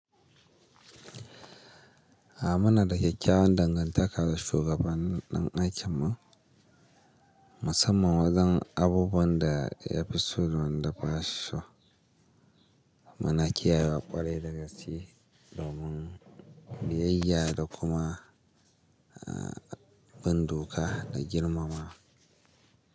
A muna da kyakkyawan dangantaka da shugaban ɗan aikinmu musamman wajen abubuwan da ya fi so da ba shi so. Muna kiyayewa ƙwarai da gaskiya domin biyayya da kuma bin doka da girmama.